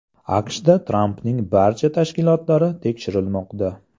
AQShda Trampning barcha tashkilotlari tekshirilmoqda.